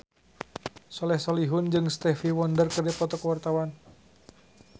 Soleh Solihun jeung Stevie Wonder keur dipoto ku wartawan